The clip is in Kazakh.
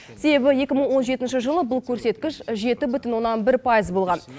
себебі екі мың он жетінші жылы бұл көрсеткіш жеті бүтін оннан бір пайыз болған